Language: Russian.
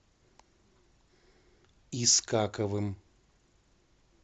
искаковым